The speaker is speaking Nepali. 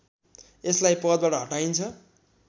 यसलाई पदबाट हटाइन्छ